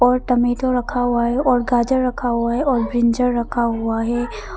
Tomato रखा हुआ है और गाजर रखा हुआ है ब्रिंजल रखा हुआ है।